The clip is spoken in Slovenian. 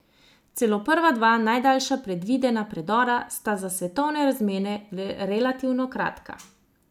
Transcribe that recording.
Celo prva dva, najdaljša predvidena predora, sta za svetovne razmere relativno kratka.